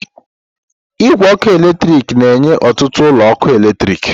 Igwe ọkụ eletrik na-enye ọtụtụ ụlọ ọkụ eletrik.